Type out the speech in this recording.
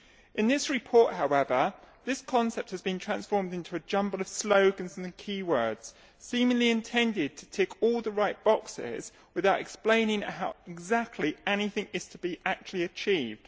In this report, however, this concept has been transformed into a jumble of slogans and key words seemingly intended to tick all the right boxes without explaining how exactly anything is to be actually achieved.